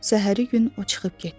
Səhəri gün o çıxıb getdi.